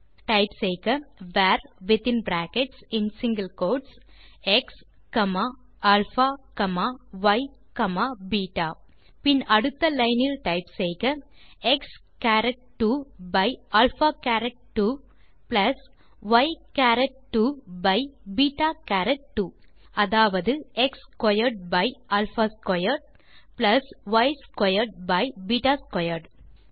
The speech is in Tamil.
டைப் செய்க வர் வித்தின் பிராக்கெட்ஸ் மற்றும் single quotes x comma alpha comma y comma beta பின் அடுத்த லைன் இல் டைப் செய்க x caret 2 by alpha caret 2 plus y caret 2 by beta caret 2 அதாவது x squared by alpha squared plus y squared by beta squared